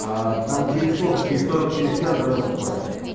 а там через сколько через сорок через час да наступает